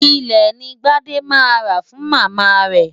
Ilẹ̀ ni Gbádé máa rà fún Màmá rẹ̀.